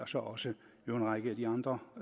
så også en række af de andre